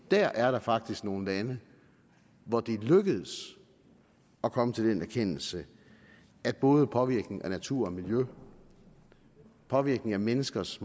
dér er der faktisk nogle lande hvor det er lykkedes at komme til den erkendelse at både påvirkning af natur og miljø påvirkning af menneskers